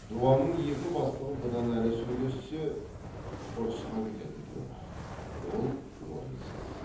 дуанның екі бастығы бұдан әрі сөйлессе ұрысқа кететін түрі бар ол орынсыз